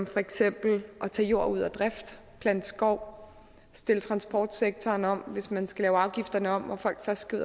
for eksempel at tage jord ud af drift plante skov stille transportsektoren om altså hvis man skal lave afgifterne om og folk først skal